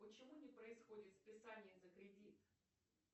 почему не происходит списание за кредит